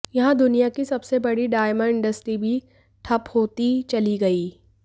यहां दुनिया की सबसे बड़ी डायमंड इंडस्ट्री भी ठप होती चली गई